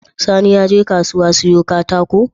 Sani yaje kasuwa siyo katakon?